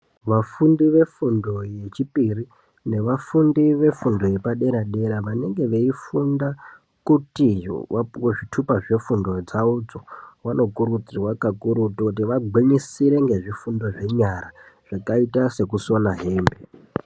Vafundi vefundo yechipiri nevafundi vefundo vepadera dera vanenge veifunda kuti vapuwe zvithupa zvefundo dzavodzo vanokurudzirwa kakurutu kuti vagwinyisire ngezvifundo zvenyara zvakaita sekusona hembe.